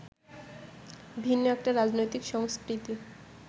ভিন্ন একটা রাজনৈতিক সংস্কৃতি